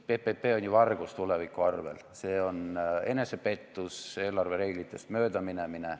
PPP on ju vargus tuleviku arvel, see on enesepettus ja eelarvereeglitest mööda minemine.